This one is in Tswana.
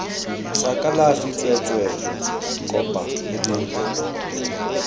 sa kalafi tsweetswee kopa modiri